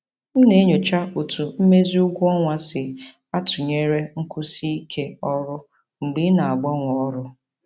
M na-enyocha otú mmezi ụgwọ ọnwa si atụnyere nkwụsi ike ọrụ mgbe ị na-agbanwe ọrụ.